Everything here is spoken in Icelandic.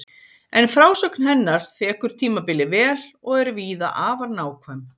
En frásögn hennar þekur tímabilið vel og er víða afar nákvæm.